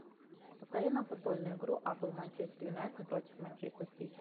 повтори нам футбольную игру апл манчестер юнайтед против манчестер сити